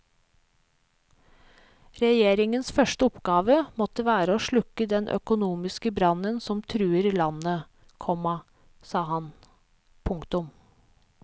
Regjeringens første oppgave måtte være å slukke den økonomiske brann som truer landet, komma sa han. punktum